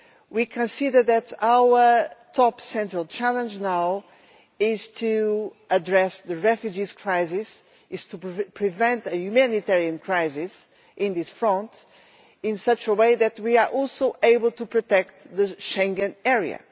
We can see that our most important challenge now is to address the refugee crisis and to prevent a humanitarian crisis on this front in such a way that we are also able to protect the Schengen Area.